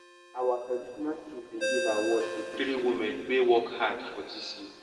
our tradition chief bin give award to three women wey work hard for dis year